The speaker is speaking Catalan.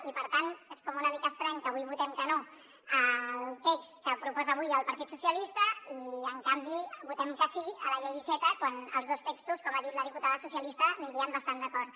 i per tant és com una mica estrany que avui votem que no al text que proposa avui el partit socialista i en canvi votem que sí a la llei iceta quan els dos textos com ha dit la diputada socialista anirien bastant d’acord